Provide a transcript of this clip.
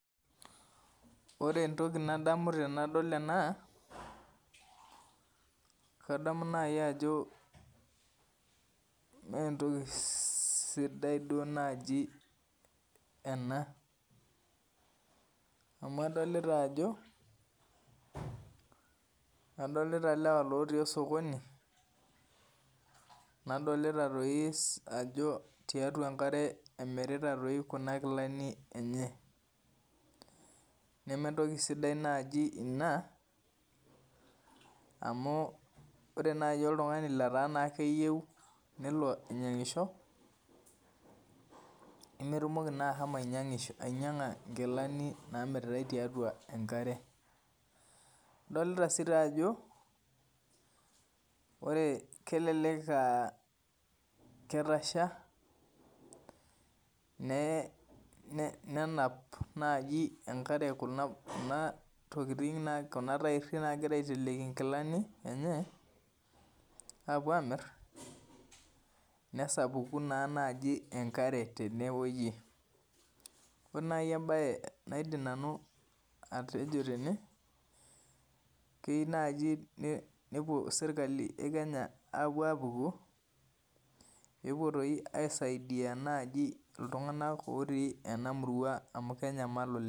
Ore entiki nadamu tanadol ena na kadamu nai ajob mentoki sidai nai ena amu adolta ajo adolta lewa otii osokoni na tiatua enkare emirita kuna kilani enye nementoki sidia inai inabore nai oltungani oyieu nelo aingisho nemetumoki ashomo ainyanga nkilani namiritae tiatua enkare adolta ajo kelelek aa ketasha nenap enkare kuna tairi nagira aiteleki nkilanibenye apuo amir nesapuku enkare tenewueji ore nai embae naidim atejo tene keyieu nai nelo serkali e kenya apuku pepuo nai aisaidia ltunganak otii enakop amu kenyamal oleng